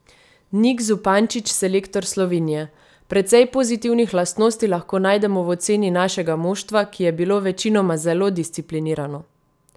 Nik Zupančič, selektor Slovenije: "Precej pozitivnih lastnosti lahko najdemo v oceni našega moštva, ki je bilo večinoma zelo disciplinirano.